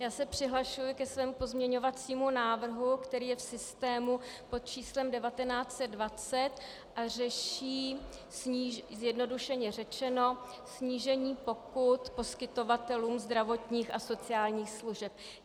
Já se přihlašuji ke svému pozměňovacímu návrhu, který je v systému pod číslem 1920 a řeší zjednodušeně řečeno snížení pokut poskytovatelům zdravotních a sociálních služeb.